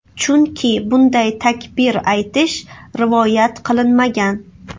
Chunki bunday takbir aytish rivoyat qilinmagan.